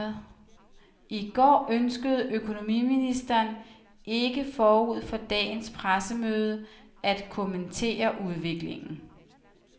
I går ønskede økonomiministeren ikke forud for dagens pressemøde at kommentere udviklingen.